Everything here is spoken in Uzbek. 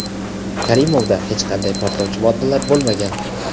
Karimovda hech qanday portlovchi moddalar bo‘lmagan.